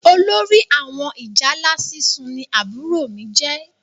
Olórí àwọn ìjálá sísun ní àbúrò mí jẹ